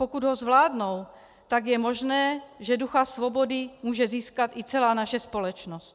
Pokud ho zvládnou, tak je možné, že ducha svobody může získat i celá naše společnost.